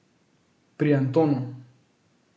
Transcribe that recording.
Pri Antonu.